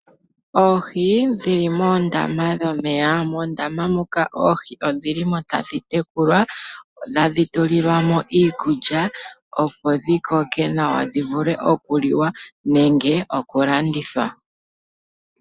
Oohi dhili moondama dhomeya. Moondama odhilimo tadhi tekulwa ,tadhi tulilwamo iikulya, opo dhi koke nawa dhi vule oku liwa nenge okulandithwa.